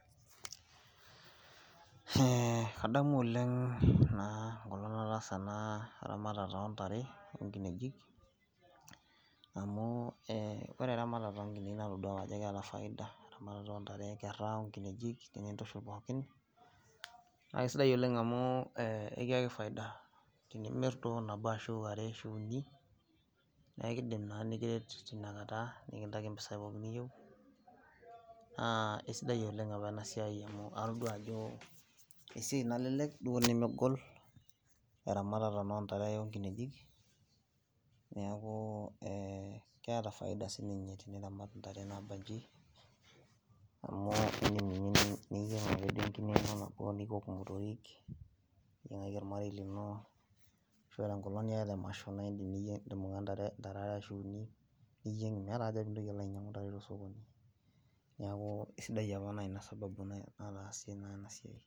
Ee kadamu oleng enkolong nataasa enaramatare ontare onkinejik amu ee ore eramatare onkinejik natadua ajo keeta faida eramatare ontare, nkera, nkinejik ashu pookin, nakaisidai oleng amu ekiaki faida tenimir ashubuni neakukidim na klnikiret tinakata nikiyaki mpisai niyieu a kesidai oleng apa enasiai amu atadua ajo esiai nalelek duo nemegol eramatare ontare onkinejik neaku keeta faida sinye teniramat ntare nabanji indim ake niyieng nye enkine ino nabo niok motorik niyiengaki ormarei lino ashu ore enkolong niata emasho naindim niyieng ntare are ashu uni niyieng meeta aja pilo ainyangu ntare tosokoni niaku aisidai apa na ina sababu nataasie enasiai.